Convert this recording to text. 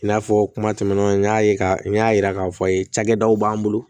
I n'a fɔ kuma tɛmɛnenw n y'a ye k'a fɔ n y'a yira k'a fɔ cakɛdaw b'an bolo